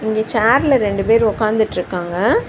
இங்க சேர்ல ரெண்டு பேர் ஒக்காதுட்ருக்காங்க.